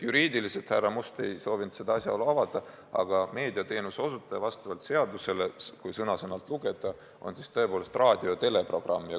Juriidiliselt ei soovinud härra Must seda asjaolu avada, aga meediateenuse osutaja vastavalt seadusele, kui sõna-sõnalt lugeda, on tõepoolest raadio- ja teleprogrammi teenuse osutaja.